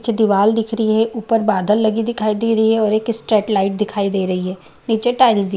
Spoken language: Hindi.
पीछे दीवाल दिख रही है ऊपर बादल लगी दिखाई दे रही है और एक स्ट्रेट लाइट दिखाई दे रही है नीचे टाइल्स दि --